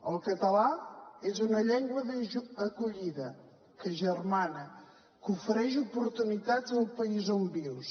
el català és una llengua d’acollida que agermana que ofereix oportunitats al país on vius